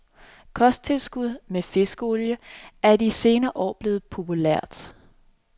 Kosttilskud med fiskeolie er i de senere år blevet populært.